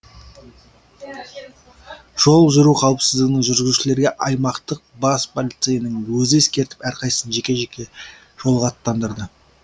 жол жүру қауіпсіздігін жүргізушілерге аймақтық бас полицейінің өзі ескертіп әрқайсысын жеке жеке жолға аттандырды